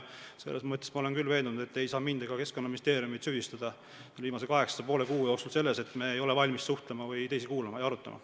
Selles mõttes ma olen küll veendunud, et te ei saa mind ega Keskkonnaministeeriumit – viimase kaheksa ja poole kuu jooksul – süüdistada selles, et me ei ole valmis suhtlema või teisi kuulama ja arutama.